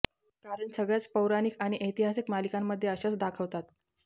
कारण सगळ्याच पौराणिक व ऐतिहासिक मालिकांमध्ये अशाच दाखवतात